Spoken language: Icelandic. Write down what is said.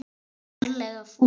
Ertu ferlega fúll?